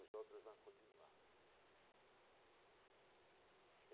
Os outros vão continuar.